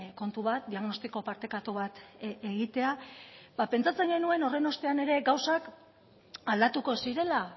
kontu bat diagnostiko partekatu bat egitea ba pentsatzen genuen horren ostean ere gauzak aldatuko zirela